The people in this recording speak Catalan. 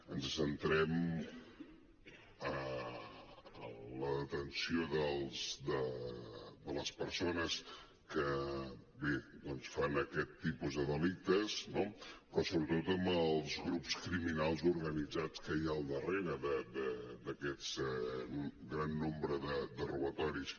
ens centrem en la detenció de les persones que doncs bé fan aquest tipus de delictes no però sobretot en els grups criminals organitzats que hi ha al darrere d’aquest gran nombre de robatoris